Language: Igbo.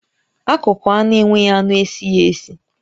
Akụkụ anụ enweghị anụ esighi esi